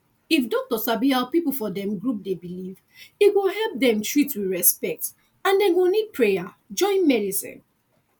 if doctor sabi how people for dem group dey believe e go help dem treat with respect and dem go need prayer join medicine